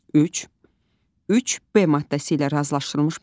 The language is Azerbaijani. Üç, üç B maddəsi ilə razılaşdırılmış bəyanat.